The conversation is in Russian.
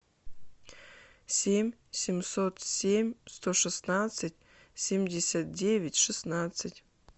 семь семьсот семь сто шестнадцать семьдесят девять шестнадцать